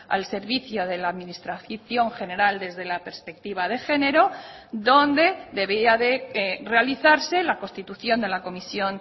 al servicio de la administración general desde la perspectiva de género donde debía de realizarse la constitución de la comisión